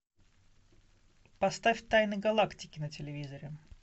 поставь тайны галактики на телевизоре